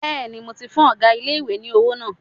Bẹ́ẹ̀ni, mo ti fún ọgá ilé-ìwé ní owó náà